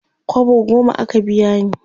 kwabo goma aka biya ni